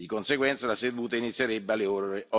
Di conseguenza la seduta inizierebbe alle ore